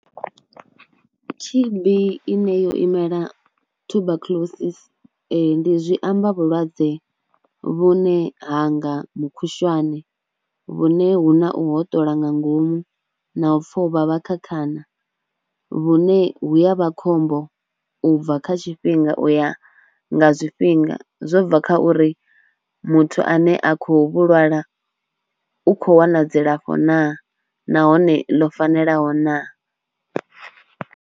T_B ine yo imela Tuberculosis zwi amba vhulwadze vhune ha nga mukhushwane vhune hu na u hoṱola nga ngomu na u pfha u vhavha kha khana. Vhune hu ya vha khombo u bva kha tshifhinga u ya nga zwifhinga zwo bva kha uri muthu ane a khou vhu lwala u khou wana dzilafho naa nahone ḽo fanelaho naa.